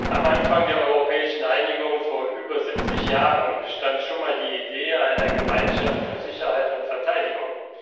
Am Anfang der europäischen Einigung, vor über 70 Jahren, stand schon mal die Idee einer Gemeinschaft für Sicherheit und Verteidigung.